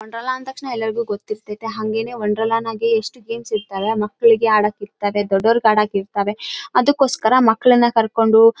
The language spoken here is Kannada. ಆಟ ಆಡಕ ಮಕ್ಕಳಿಗೆಲ್ಲ ಆಟ ಆಡಕ.